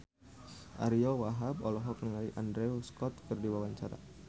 Ariyo Wahab olohok ningali Andrew Scott keur diwawancara